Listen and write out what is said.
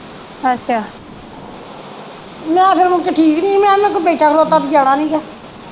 ਮੈ ਫਿਰ ਮੁੜਕੇ ਠੀਕ ਨਹੀਂ ਹੀ ਮੈ ਕਿਹਾ ਮੈ ਕੋ ਬੈਠਾ ਖਲੋਤਾ ਤੇ ਜਾਣਾ ਨਹੀਂ ਗਾ।